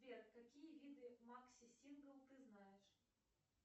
сбер какие виды макси сингл ты знаешь